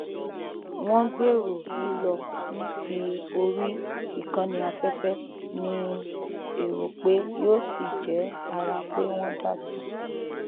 wọn gbèrò lílọ ní tí orí ìkànnì afẹfẹ ní èrò pé yóò sì jẹ ara pé wọn dá sí i